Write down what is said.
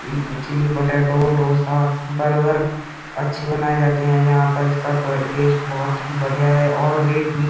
Chilli potato dosa burger अच्छे बनाये जाते हैं। यहाँ पर इसका टवे टेस्ट बहोत ही बढ़ियां है और रेट भी।